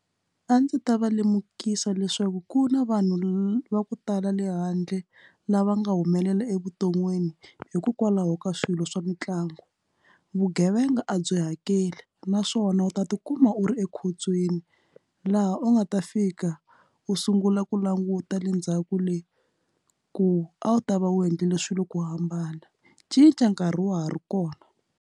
A ndzi ta va lemukisa leswaku ku na vanhu va ku tala le handle lava nga humelela evuton'wini hikokwalaho ka swilo swa mitlangu vugevenga a byi hakeli naswona wona u ta tikuma u ri ekhotsweni laha u nga ta fika u sungula ku languta le ndzhaku leyi ku a wu ta va u endlile swilo ku hambana cinca nkarhi wa ha ri kona.